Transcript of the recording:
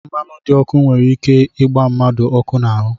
Mmanụ dị ọkụ nwere ike ịgba mmadụ ọkụ n'ahụ